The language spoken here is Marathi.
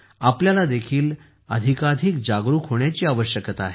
आपल्याला देखील अधिकाधिक जागरुक होण्याची आवश्यकता आहे